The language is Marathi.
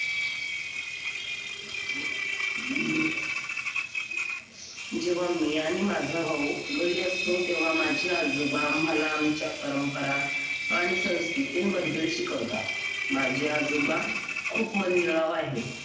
जेव्हा मी आणि माझा भाऊ घरी असतो तेव्हा माझे आजोबा आम्हाला आमच्या परंपरा आणि संस्कृतींबद्दल शिकवतात माझे आजोबा खूप मनमिळाऊ आहेत.